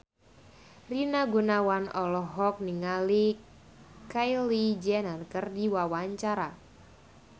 Rina Gunawan olohok ningali Kylie Jenner keur diwawancara